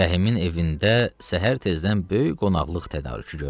Rəhimin evində səhər tezdən böyük qonaqlıq tədarükü görülürdü.